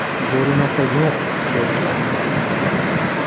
Bo‘lmasa yo‘q”, deb javob bergandilar.